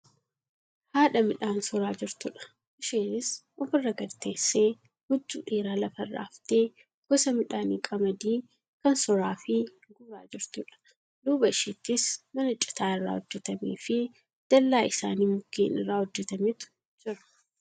Haadha midhaan soraa jirtudha. Isheenis ofirra gadi teessee huccuu dheeraa lafarra aftee gosa midhaanii qamadii kan soraafi guuraa jirtudha. Duuba isheettis mana citaa irraa hojjatamefi dallaa isaanii mukkeen irraa hojjatametu jira.